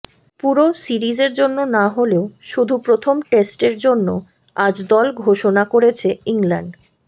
পুরো সিরিজের জন্য না হলেও শুধু প্রথম টেস্টের জন্য আজ দল ঘোষণা করেছে ইংল্যান্ড